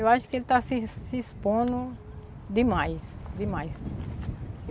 Eu acho que ele está se se expondo demais, demais.